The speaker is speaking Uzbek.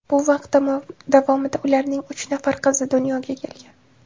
Bu vaqt davomida ularning uch nafar qizi dunyoga kelgan.